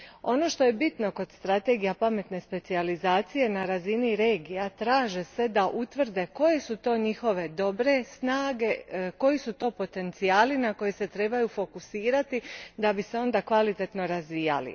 Ono što je bitno kod strategija pametne specijalizacije na razini regija traže se da utvrde koje su to njihove dobre snage, koji su to potencijali na koje se trebaju fokusirati da bi se onda kvalitetno razvijali.